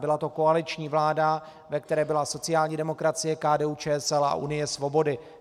Byla to koaliční vláda, ve které byla sociální demokracie, KDU-ČSL a Unie svobody.